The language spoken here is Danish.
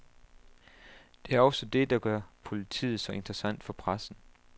Det er også det, der gør politiet så interessant for pressen.